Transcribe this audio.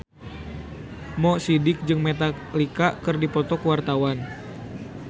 Mo Sidik jeung Metallica keur dipoto ku wartawan